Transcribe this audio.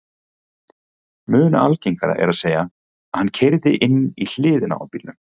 Mun algengara er að segja: Hann keyrði inn í hliðina á bílnum